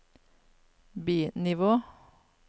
bi-nivå